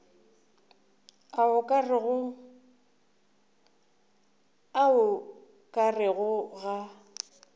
a o ka rego ga